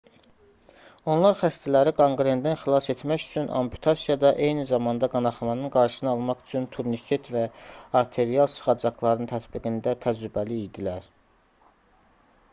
onlar xəstələri qanqrendən xilas etmək üçün amputasiyada eyni zamanda qanaxmanın qarşısını almaq üçün turniket və arterial sıxacaqların tətbiqində təcrübəli idilər